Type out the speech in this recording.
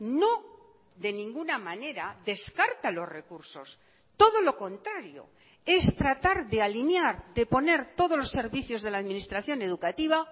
no de ninguna manera descarta los recursos todo lo contrario es tratar de alinear de poner todos los servicios de la administración educativa